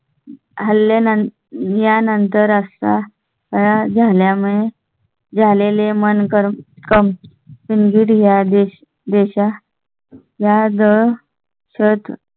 आल्या. यानंतर असता त्या झाल्या मुळे झालेले मन करकमवून घ्या. देश देशा या जर सर.